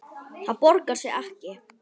Það borgar sig ekki